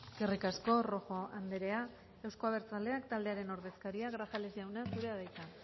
eskerrik asko rojo andrea euzko abertzaleak taldearen ordezkaria grajales jauna zurea da hitza